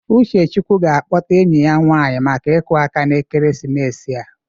Uchechukwu ga-akpọta enyi ya nwanyị maka iku aka na ekeresimesi a.